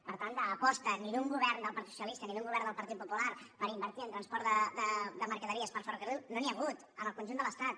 per tant d’aposta ni d’un govern ni del partit socialista ni d’un govern del partit popular per invertir en transport de mercaderies per ferrocarril no n’hi ha hagut en el conjunt de l’estat